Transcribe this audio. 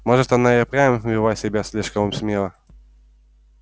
может она и впрямь вела себя слишком смело